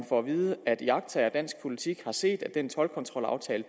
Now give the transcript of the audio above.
får at vide at iagttagere af dansk politik har set at den toldkontrolaftale